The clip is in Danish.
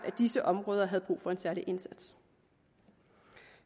at disse områder havde brug for en særlig indsats